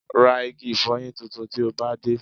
Ra igi ìfọyín tuntun tí o bá dé